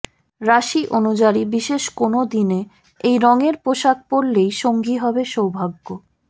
রাশি অনুযারী বিশেষ কোনও দিনে এই রঙের পোশাক পরলেই সঙ্গী হবে সৌভাগ্য